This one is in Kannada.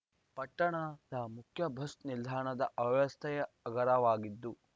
ಪಟ್ಟಣದ ಮುಖ್ಯ ಬಸ್‌ ನಿಲ್ದಾಣ ಅವ್ಯವಸ್ಥೆಯ ಆಗರವಾಗಿದ್ದು